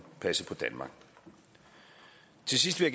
passe på danmark til sidst vil